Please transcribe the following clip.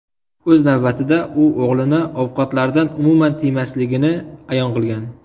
O‘z navbatida, u o‘g‘lini ovqatlardan umuman tiymasligini ayon qilgan.